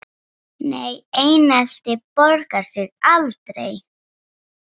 NEI einelti borgar sig aldrei.